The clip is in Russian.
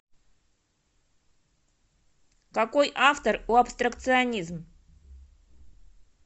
какой автор у абстракционизм